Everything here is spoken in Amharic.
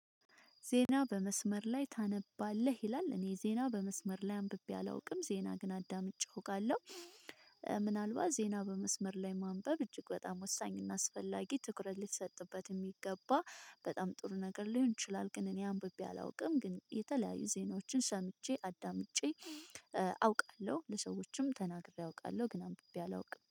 ዜና በመስመር ላይ ታነባለህ? ይላል እኔ ዜና በመስመር ላይ አንብቤ አላውቅም ዜና ግን አዳምጬ እውቃለሁ ካለው ምናልባት ዜና በመስመር ላይ ማንበብ እጅግ በጣም ወሳኝ እና አስፈላጊ ትኩረት ሊሰጥበት የሚገባ በጣም ጥሩ ነገር ሊሆን ይችላል ግን እኔ አንብቤ አላውቅም ግን የተለያዩ ዜናዎችን ሰምቼ አዳምጬ አውቃለሁ ለሰዎችም ተናግሬ አውቃለሁ ግን አምብቤ አላውቅም